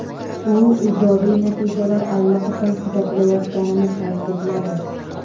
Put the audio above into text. U ijobiy natijalar allaqachon kuzatilayotganini ta’kidladi.